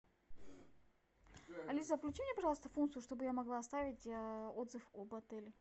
алиса включи мне пожалуйста функцию чтобы я могла оставить отзыв об отеле